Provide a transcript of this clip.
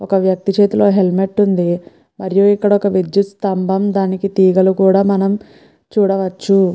ఒక వ్యక్తి చేతిలో హెల్మెట్ ఉంది మరియు ఇక్కడ విద్యుత్ స్తంభం దానికి తీగలు కూడా మనం చూడొచ్చు.